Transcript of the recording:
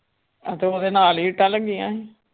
ਹਾਂ ਤੇ ਉਹਦੇ ਨਾਲ ਹੀ ਇੱਟਾਂ ਲੱਗੀਆਂ ਸੀ।